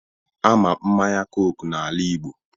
Ama mmanya coke n'ala Igbo